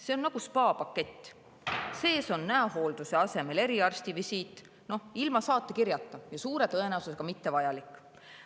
See on nagu spaapakett, aga sees on näohoolduse asemel eriarstivisiit ilma saatekirjata ja suure tõenäosusega mittevajalik.